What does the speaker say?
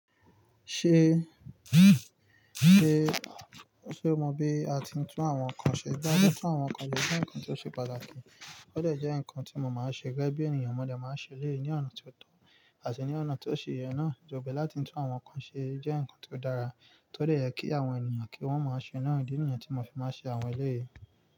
Ṣe, ṣe, ṣe mo mọ bi a ti ń tún àwọn nkan ṣe? Bí a ṣe ń tún àwọn nkan ṣe jẹ́ nǹkan tí ó ṣe pàtàkì, ó dẹ̀ jẹ́ nǹkan tí mo máa ń ṣe gẹ́gẹ́ bí ènìyàn, mo dẹ̀ máa ń ṣe eleyi ní ọ̀nà tí ó tọ́ àti ní ọ̀nà tí ó ṣe yẹn náà. Ìjoba láti tún àwọn nkan ṣe jẹ́ nǹkan tí ó dára, tó dẹ̀ yẹ kí àwọn ènìyàn kí wọ́n máa ṣe náà. Idi nìyen tí mo fi máa ń ṣe àwọn eleyìí.